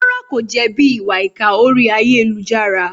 Rárá, kò jẹ̀bi ìwà ìkà orí ayélujára?